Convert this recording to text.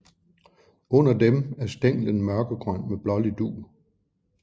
Under dem er stænglen mørkegrøn med blålig dug